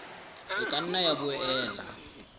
e ka nna ya boela